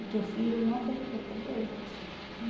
O teu filho não tem culpa do erro teu.